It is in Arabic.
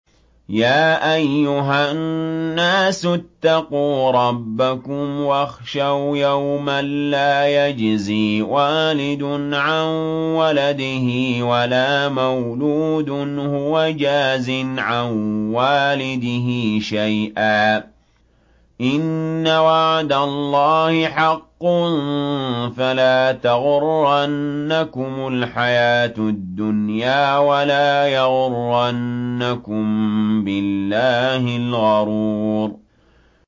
يَا أَيُّهَا النَّاسُ اتَّقُوا رَبَّكُمْ وَاخْشَوْا يَوْمًا لَّا يَجْزِي وَالِدٌ عَن وَلَدِهِ وَلَا مَوْلُودٌ هُوَ جَازٍ عَن وَالِدِهِ شَيْئًا ۚ إِنَّ وَعْدَ اللَّهِ حَقٌّ ۖ فَلَا تَغُرَّنَّكُمُ الْحَيَاةُ الدُّنْيَا وَلَا يَغُرَّنَّكُم بِاللَّهِ الْغَرُورُ